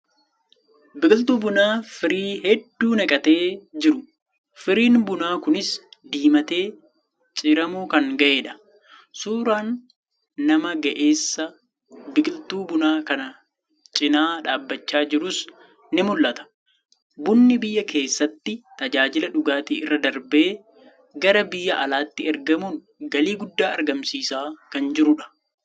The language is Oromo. Biqiltuu bunaa firii hedduu naqatee jiru. Firiin bunaa kunis diimatee ciramuu kan ga'edha. Suuraan nama ga'eessa biqiltuu bunaa kan cinaa dhaabachaa jiruus ni mul'ata. Bunni biyya keessatti tajaajila dhugaatii irra darbee gara biyya alaatti ergamuun galii guddaa argamsiisaa kan jirudha.